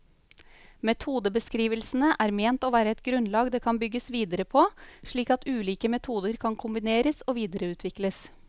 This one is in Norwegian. Metodebeskrivelsene er ment å være et grunnlag det kan bygges videre på, slik at ulike metoder kan kombineres og videreutvikles.